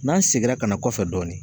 N'an seginna ka na kɔfɛ dɔɔnin